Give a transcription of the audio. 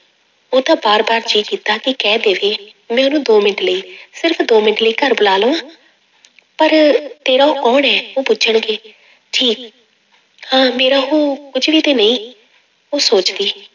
ਉਹਦਾ ਵਾਰ ਵਾਰ ਜੀਅ ਕੀਤਾ ਕਿ ਕਹਿ ਦੇਵੇ ਮੈਂ ਉਹਨੂੰ ਦੋ ਮਿੰਟ ਲਈ ਸਿਰਫ਼ ਦੋ ਮਿੰਟ ਲਈ ਘਰ ਬੁਲਾ ਲਵਾਂ ਪਰ ਤੇਰਾ ਉਹ ਕੌਣ ਹੈ? ਉਹ ਪੁੱਛਣਗੇ ਹਾਂ ਮੇਰਾ ਉਹ ਕੁੱਝ ਵੀ ਤੇ ਨਹੀਂ, ਉਹ ਸੋਚਦੀ।